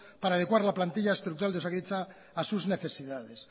para adecuar la plantilla estructural de osakidetza a sus necesidades